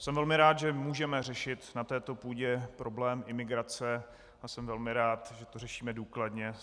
Jsem velmi rád, že můžeme řešit na této půdě problém imigrace, a jsem velmi rád, že to řešíme důkladně.